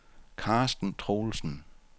Karsten Troelsen